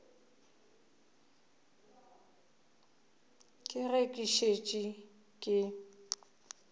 ka ge ke šetše ke